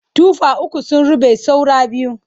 Tufa uku sun ruɓe saura biyu.